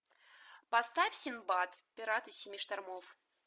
поставь синдбад пираты семи штормов